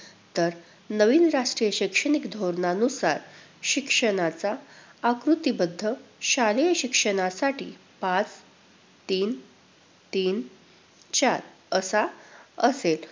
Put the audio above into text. तर नवीन राष्ट्रीय शैक्षणिक धोरणानुसार शिक्षणाचा आकृतिबंध शालेय शिक्षणासाठी पाच-तीन-तीन-चार असा असेल.